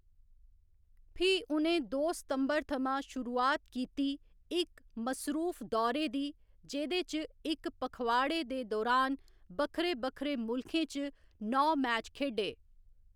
फ्ही उ'नें दो सितंबर थमां शुरुआत कीती इक मसरूफ दौरे दी जेह्‌‌‌दे च इक पखवाड़े दे दुरान बक्खरे बक्खरे मुल्खें च नौ मैच खेढे।